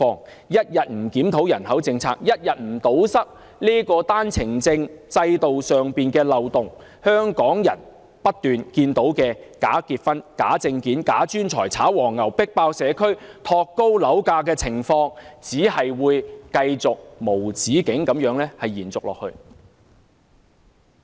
政府一天不檢討人口政策，一天不堵塞單程證制度上的漏洞，香港人便不斷會看到假結婚、假證件、假專才、炒黃牛、迫爆社區和托高樓價等情況，繼續無止境地延續。